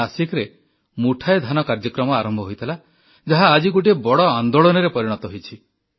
ନାସିକରେ ମୁଠାଏ ଧାନ କାର୍ଯ୍ୟକ୍ରମ ଆରମ୍ଭ ହୋଇଥିଲା ଯାହା ଆଜି ଗୋଟିଏ ବଡ଼ ଆନ୍ଦୋଳନରେ ପରିଣତ ହୋଇଛି